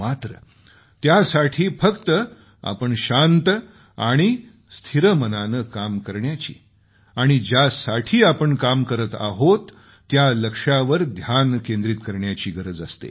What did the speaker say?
मात्र त्यासाठी फक्त आपण शांत आणि स्थिर मनानं काम करण्याची आणि ज्यासाठी आपण काम करत आहोत त्या लक्ष्यावर ध्यान केंद्रीत करण्याची गरज असते